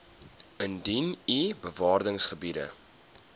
indien u bewaringsgebiede